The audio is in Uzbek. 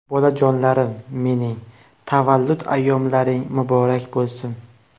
Bolajonlarim mening, tavallud ayyomlaring muborak bo‘lsin.